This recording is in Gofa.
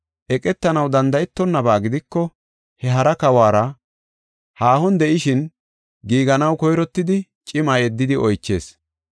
Eqetanaw danda7etonaba gidiko, he kawuwara haahon de7ishin giiganaw koyrottidi cima yeddidi oychees.